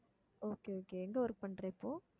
okay okay எங்க work பண்ற இப்போ